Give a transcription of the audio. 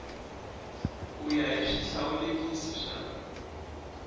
ku ya hi swihlawulekisi swa